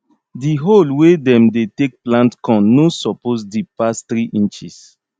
di hole wey dem dey take plant corn no suppose deep pass three inches